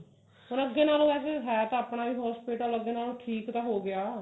ਫੇਰ ਅੱਗੇ ਨਾਲੋ ਵੈਸੇ ਹੈ ਤਾਂ ਆਪਣਾ ਹੀ hospital ਅੱਗੇ ਨਾਲੋ ਠੀਕ ਤਾਂ ਹੋ ਗਿਆ